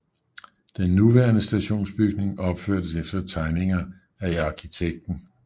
Den nuværende stationsbygning opførtes efter tegninger af arkitekten B